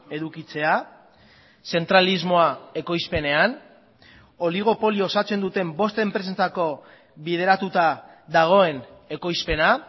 edukitzea zentralismoa ekoizpenean oligopolio osatzen duten bost enpresetako bideratuta dagoen ekoizpena